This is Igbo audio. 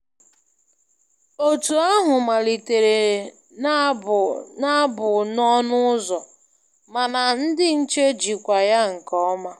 Otu ahụ malitere na-abụ abụ n’ọnụ ụzọ, mana ndị nche jikwaa ya nke ọma.